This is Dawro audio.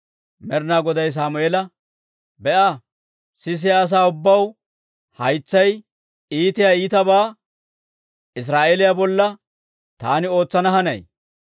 Med'inaa Goday Sammeela, «Be'a! Sisiyaa asaa ubbaw haytsaw iitiyaa ittibaa Israa'eeliyaa bolla taani ootsana hanay.